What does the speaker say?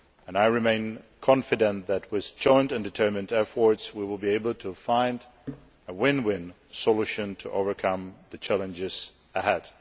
I remain confident that, with joint and determined efforts, we will be able to find a win win solution to overcome the challenges ahead.